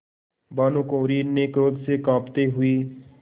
भानुकुँवरि ने क्रोध से कॉँपते हुए